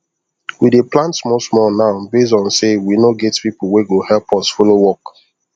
we dey plant small small now based on say we no get people wey go help us follow work